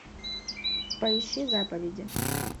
поищи заповеди